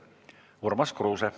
Urmas Kruuse.